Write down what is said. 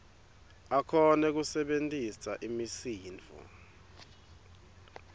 akhone kusebentisa imisindvo